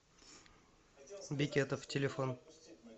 бекетов телефон